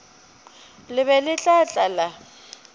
le be le tla tlala